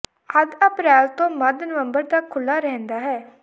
ਅੱਧ ਅਪ੍ਰੈਲ ਤੋਂ ਮੱਧ ਨਵੰਬਰ ਤਕ ਖੁੱਲ੍ਹਾ ਰਹਿੰਦਾ ਹੈ